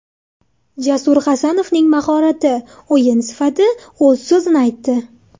Jasur Hasanovning mahorati, o‘yin sifati o‘z so‘zini aytdi.